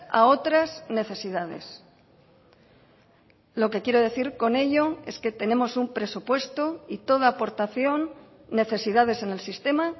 a otras necesidades lo que quiero decir con ello es que tenemos un presupuesto y toda aportación necesidades en el sistema